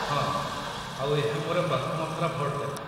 ହଁ, ଆଉ ଏହା ମୋର ପ୍ରଥମ ଥର ଭୋଟଦେବା